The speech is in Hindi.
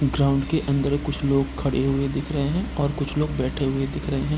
ग्राउंड के अंदर ही कुछ लोग खड़े हुए दिख रहे हैं और कुछ लोग बैठे हुए दिख रहे हैं।